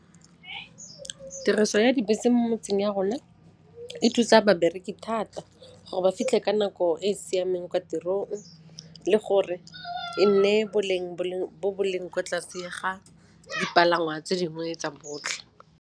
Tiriso ya dibese mo motseng ya rona e thusa babereki thata gore ba fitlhe ka nako e e siameng kwa tirong le gore e nne boleng bo bo leng kwa tlase ga dipalangwa tse dingwe tsa botlhe.